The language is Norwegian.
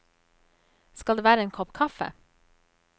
Skal det være en kopp kaffe?